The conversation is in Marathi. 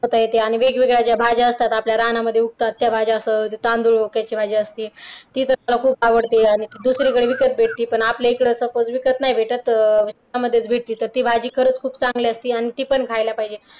ते आणि वेगवेगळ्या भाज्या असतात आपल्या रानामध्ये उगतात त्या भाज्या असो त्यात तांदूळ खोक्याची भाजी असते ती तर मला खूप आवडते आणि ती दुसरीकडे विकत भेटते पण आपल्याकडे suppose विकत नाही भेटत रानामध्ये भेटते तर ती भाजी खूपच चांगली असते आणि ती पण खायला पाहिजे.